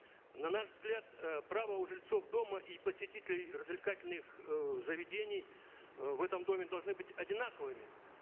на наш взгляд э права у жильцов дома и посетителей развлекательных э заведений э в этом доме должны быть одинаковыми